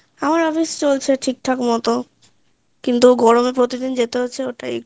আমার office চলছে ঠিকঠাক মতো কিন্তু গরমে প্রতিদিন যেতে হচ্ছে ওটাই